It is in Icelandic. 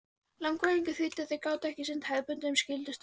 Leiðangurinn þýddi að þeir gátu ekki sinnt hefðbundnum skyldustörfum.